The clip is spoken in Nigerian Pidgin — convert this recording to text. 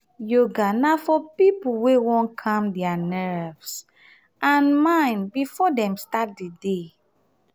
yoga na for pipo wey won calm their nerves and mind before dem start di day